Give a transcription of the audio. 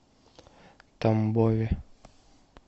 тамбове